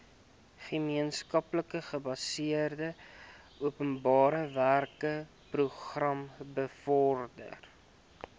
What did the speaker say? gemeenskapsgebaseerde openbarewerkeprogram bevorder